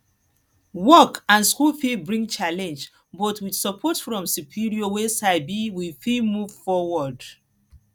work and school fit bring challenge but with support from superior wey sabi we fit move foward